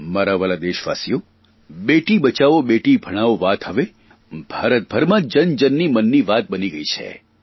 મારા વ્હાલા દેશવાસીઓ બેટી બચાવો બેટી ભણાવો વાત હવે ભારતભરમાં જન જનની મનની વાત બની ગઇ છે